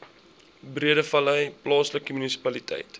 breedevallei plaaslike munisipaliteit